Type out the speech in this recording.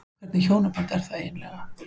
Hvernig hjónaband er það eiginlega?